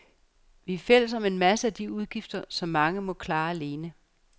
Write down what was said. Vi er fælles om en masse af de udgifter, som mange må klare alene.